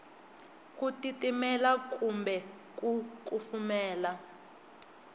ku titimela kumbe ku kufumela